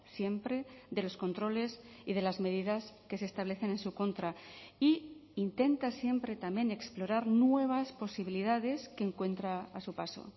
siempre de los controles y de las medidas que se establecen en su contra y intenta siempre también explorar nuevas posibilidades que encuentra a su paso